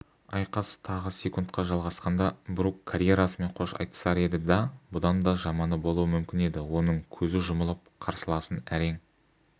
айқас тағы секундқа жалғасқанда брук карьерасымен қош айтысар еді да бұдан да жаманы болуы мүмкін еді оның көзі жұмылып қарсыласын әрең